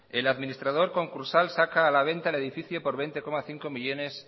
el administrador concursal saca a la venta el edificio por veinte coma cinco millónes